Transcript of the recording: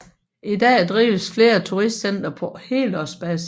I dag drives flere turistcentre på helårsbasis